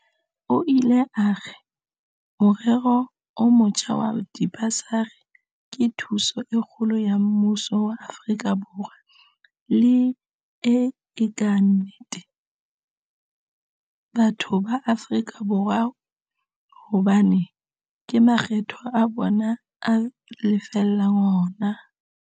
O ile a re, Morero o motjha wa dibasari ke thuso e kgolo ya mmuso wa Afrika Borwa le, e le ka nnete, batho ba Afrika Borwa hobane ke makgetho a bona a lefellang hona.